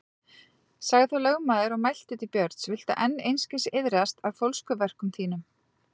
Sagði þá lögmaður og mælti til Björns: Viltu enn einskis iðrast af fólskuverkum þínum?